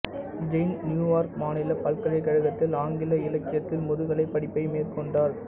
Jain New York மாநில பல்கலைக்கழகத்தில் ஆங்கில இலக்கியத்தில் முதுகலை படிப்பை மேற்கொண்டார்